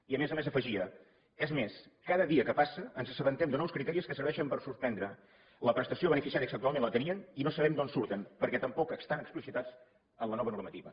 i a més a més afegia és més cada dia que passa ens assabentem de nous criteris que serveixen per suspendre la prestació a beneficiaris que actualment la tenien i no sabem d’on surten perquè tampoc estan explicitats en la nova normativa